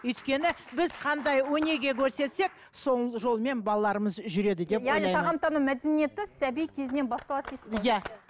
өйткені біз қандай өнеге көрсетсек сол жолмен балаларымыз жүреді деп ойлаймын яғни тағамтану мәдениеті сәби кезінен басталады дейсіз ғой иә